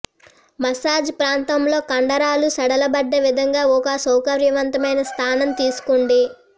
massage ప్రాంతంలో కండరాలు సడలబడ్డ విధంగా ఒక సౌకర్యవంతమైన స్థానం తీసుకోండి